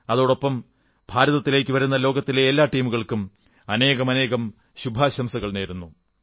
അതോടൊപ്പം ഭാരതത്തിലേക്കുവരുന്ന ലോകത്തിലെ എല്ലാ ടീമുകൾക്കും അനേകം ശുഭാശംസകൾ നേരുന്നു